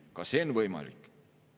Ka see on võimalik.